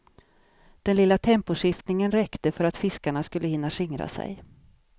Den lilla temposkiftningen räckte för att fiskarna skulle hinna skingra sig.